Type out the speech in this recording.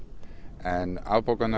en afbókanir